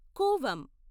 Cooum